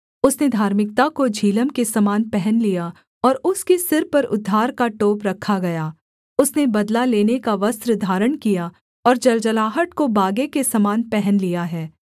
उसने धार्मिकता को झिलम के समान पहन लिया और उसके सिर पर उद्धार का टोप रखा गया उसने बदला लेने का वस्त्र धारण किया और जलजलाहट को बागे के समान पहन लिया है